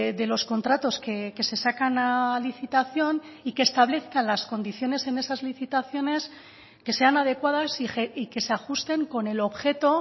de los contratos que se sacan a licitación y que establezcan las condiciones en esas licitaciones que sean adecuadas y que se ajusten con el objeto